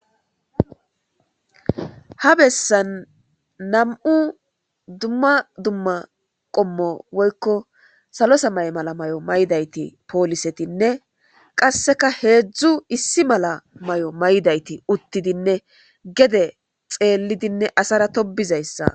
Ha bessan nam'u dumma dumma qommo woykko salosa may mala may'o maydayti poolisetinne qasseka heedzdzu issi mala may'o may'dayti uttidinne gede xeellidinne asara tobizayssa.